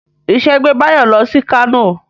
Ìṣe gbé Báyọ̀ lọ sí Kánò